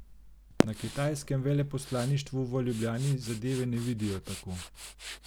Na kitajskem veleposlaništvu v Ljubljani zadeve ne vidijo tako.